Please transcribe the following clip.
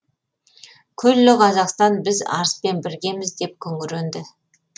күллі қазақстан біз арыспен біргеміз деп күңіренді